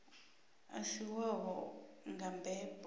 a si wavho nga mbebo